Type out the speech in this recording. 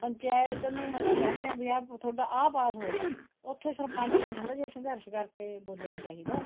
ਪੰਚਾਇਤ ਨੂੰ ਮਤਾ ਕਹਿ ਦਿੰਨੇ ਵੀ ਤੁਹਾਡਾ ਆ ਪਾਸ ਹੋਇਆ ਹੈ ਉੱਥੇ ਸਰਪੰਚ ਨੂੰ ਥੋੜਾ ਜਾ ਸੰਘਰਸ ਕਰਕੇ ਬੋਲਣਾ ਚਾਹੀਦਾ ਏ